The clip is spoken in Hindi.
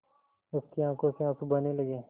उसकी आँखों से आँसू बहने लगे